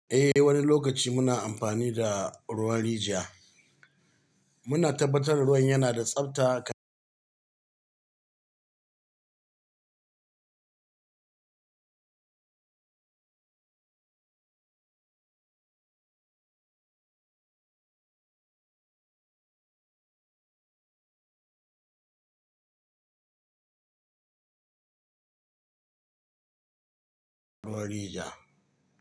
Eh, wani lokaci muna amfani da ruwan rijiya. Muna tabbatar da ruwan yana da tsabta rijiya.